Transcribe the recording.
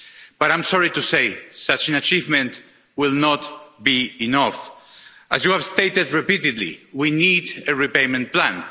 But I'm sorry to say that such an achievement will not be enough. As you have stated repeatedly, we need a repayment plan.